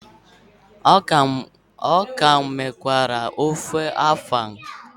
A ka m richara ofe afang.